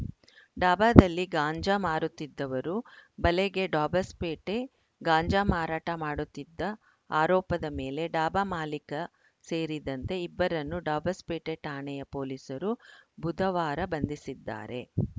ಡಾಬಾದಲ್ಲಿ ಗಾಂಜಾ ಮಾರುತ್ತಿದ್ದವರು ಬಲೆಗೆ ಡಾಬಸ್‌ಪೇಟೆ ಗಾಂಜಾ ಮಾರಾಟ ಮಾಡುತ್ತಿದ್ದ ಆರೋಪದ ಮೇಲೆ ಡಾಬಾ ಮಾಲೀಕ ಸೇರಿದಂತೆ ಇಬ್ಬರನ್ನು ಡಾಬಸ್‌ಪೇಟೆ ಠಾಣೆಯ ಪೊಲೀಸರು ಬುಧವಾರ ಬಂಧಿಸಿದ್ದಾರೆ